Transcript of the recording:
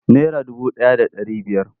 Nara dubu ɗaya da ɗari biyar.